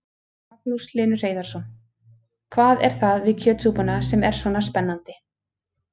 Magnús Hlynur Hreiðarsson: Hvað er það við kjötsúpuna sem er svona spennandi?